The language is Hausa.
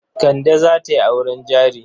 Kande za ta yi auren jari.